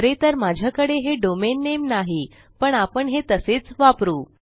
खरे तर माझ्याकडे हे डोमेन नामे नाही पण आपण हे तसेच वापरू